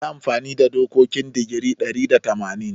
Yi amfani da dokokin digiri ɗari da tamanin.